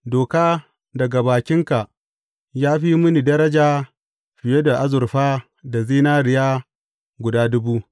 Doka daga bakinka ya fi mini daraja fiye da azurfa da zinariya guda dubu.